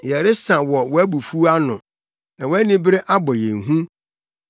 Yɛresa wɔ wʼabufuw ano na wʼanibere abɔ yɛn hu.